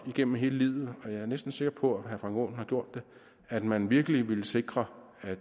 igennem hele livet har drømt og jeg er næsten sikker på at herre frank aaen har gjort det at man virkelig vil sikre at